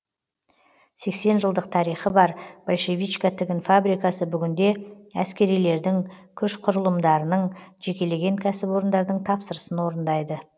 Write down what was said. сексен жылдық тарихы бар большевичка тігін фабрикасы бүгінде әскерилердің күш құрылымдарының жекелеген кәсіпорындардың тапсырысын орындайды